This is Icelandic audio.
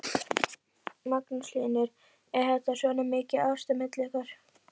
Magnús Hlynur: Er þetta svona mikið ást á milli ykkar?